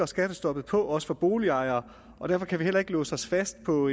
skattestoppet på også for boligejere derfor kan vi heller ikke låse os fast på